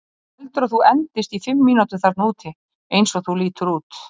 Þú heldur að þú endist í fimm mínútur þarna úti, eins og þú lítur út?